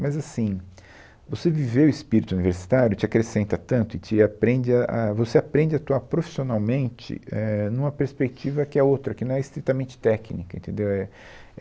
Mas assim, você viver o espírito universitário te acrescenta tanto e te aprende a, a, você aprende a atuar profissionalmente, é, em uma perspectiva que é outra, que não é estritamente técnica, entendeu? É,